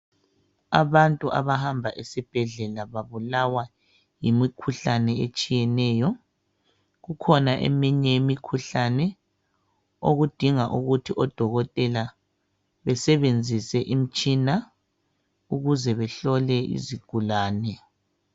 Abantu abahamba esibhedlela, babulawa yimikhuhlane etshiyeneyo, kukhona eminye imikhuhlane okudinga ukuthi odokotela basebenzise imitshina ukuze bahlole isigulane.